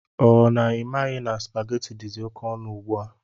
Ọ na imaghi na supaghetti dizi oké ọnụ ugbua?